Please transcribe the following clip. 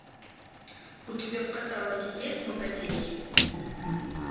у тебя в каталоге есть богатей